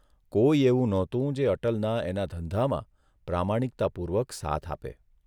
કોઇ એવું નહોતું જે અટલના એના ધંધામાં પ્રામાણિકતાપૂર્વક સાથ આપે.